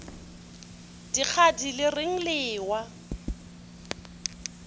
dikgadi le reng le ewa